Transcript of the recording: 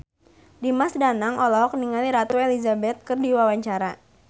Dimas Danang olohok ningali Ratu Elizabeth keur diwawancara